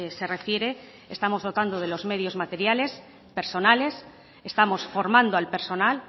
se refiere estamos dotando de los medios materiales personales estamos formando al personal